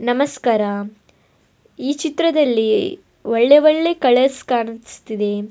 ನಮಸ್ಕಾರ ಈ ಚಿತ್ರದಲ್ಲಿ ಒಳ್ಳೆ ಒಳ್ಳೆ ಕಲರ್ಸ್ ಕಾಣಿಸ್ತಿದೆ.